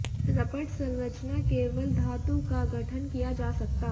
रपट संरचना केवल धातु का गठन किया जा सकता